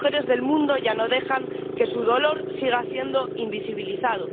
Las mujeres del mundo ya no dejan que su dolor siga siendo invisibilizado.